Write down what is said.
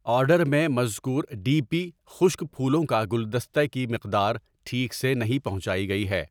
Order میں مذکور D P خشک پھولوں کا گلدستہ کی مقدار ٹھیک سے نہیں پہنچائی گئی ہے۔